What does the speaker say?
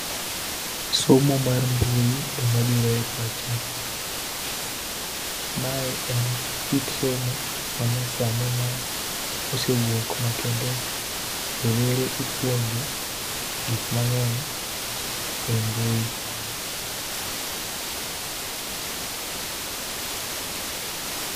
Somo mar mbu ema biro e pacha. Mae en kit somo manyasani ma osewuok ma kendo rowere ipuonjo gik mangeny e mbui.